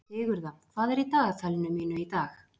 Sigurða, hvað er í dagatalinu mínu í dag?